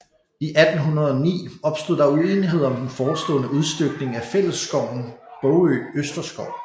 I 1809 opstod der uenighed om den forestående udstykning af fællesskoven Bogø Østerskov